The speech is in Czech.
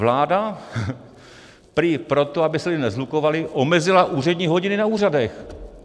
Vláda prý proto, aby se lidé neshlukovali, omezila úřední hodiny na úřadech.